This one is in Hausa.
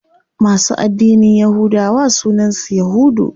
Masu addinin yahudawa sunan su yahudu.